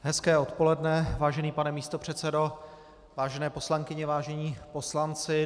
Hezké odpoledne, vážený pane místopředsedo, vážené poslankyně, vážení poslanci.